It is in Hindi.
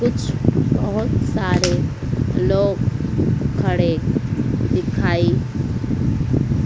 कुछ बहोत सारे लोग खड़े दिखाई--